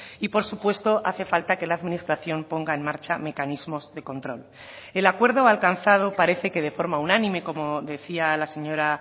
y por supuesto hace falta que la administración ponga en marcha mecanismos de control el acuerdo alcanzado parece que de forma unánime como decía la señora